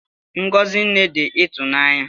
Ngọzi Nne dị ịtụnanya